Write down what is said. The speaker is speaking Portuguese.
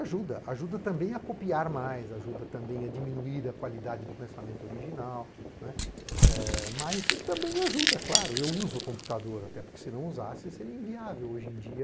ajuda, ajuda também a copiar mais, ajuda também a diminuir a qualidade do pensamento original, mas ele também ajuda, é claro, eu uso o computador, até porque se não usasse seria inviável hoje em dia.